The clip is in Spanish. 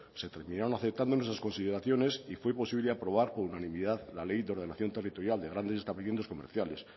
se terminaron aceptando nuestras consideraciones y fue posible aprobar por unanimidad la ley de ordenación territorial de grandes establecimientos comerciales